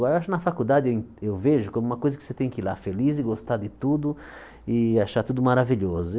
Agora, acho na faculdade, eu vejo como uma coisa que você tem que ir lá feliz e gostar de tudo e achar tudo maravilhoso.